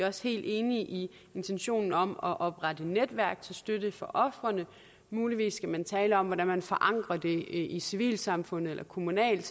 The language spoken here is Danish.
også helt enige i intentionen om at oprette netværk til støtte for ofrene muligvis skal man tale om hvordan man forankrer det i civilsamfundet eller kommunalt